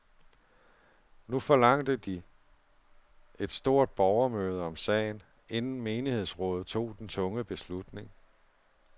Nu forlangte de et stort borgermøde om sagen, inden menighedsrådet tog den tunge beslutning.